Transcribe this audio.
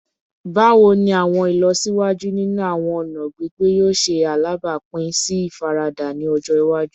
Bawo ni awọn ilọsiwaju ninu awọn ọna gbigbe yoo ṣe alabapin si ifarada ni ọjọ iwaju?